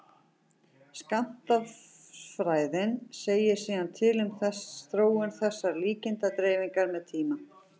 skammtafræðin segir síðan til um þróun þessarar líkindadreifingar með tíma